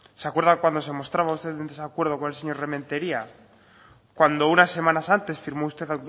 se acuerda cuando se mostraba usted en desacuerdo con el señor rementeria cuando unas semanas antes firmó usted